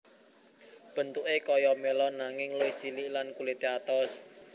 Bentuké kaya melon nanging luwih cilik lan kulité atos